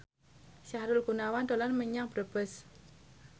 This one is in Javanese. Sahrul Gunawan dolan menyang Brebes